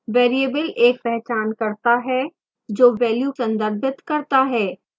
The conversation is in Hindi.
variable एक पहचानकर्ता है जो value संदर्भित करता है